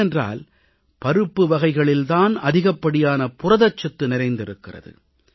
ஏனென்றால் பருப்பு வகைகளில் தான் அதிகப்படியான புரதச்சத்து நிறைந்திருக்கிறது